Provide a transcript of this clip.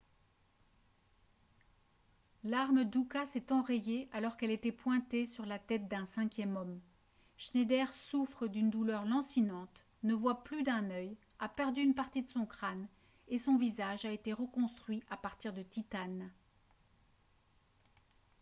l'arme d'uka s'est enrayée alors qu'elle était pointée sur la tête d'un cinquième homme schneider souffre d'une douleur lancinante ne voit plus d'un œil a perdu une partie de son crâne et son visage a été reconstruit à partir de titane